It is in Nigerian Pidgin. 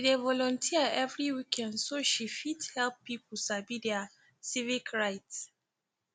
she dey volunteer every weekend so she fit help pipu sabi their civic rights